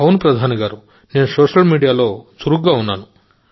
అవును మోదీ గారూ నేను సోషల్ మీడియాలో చురుకుగా ఉన్నాను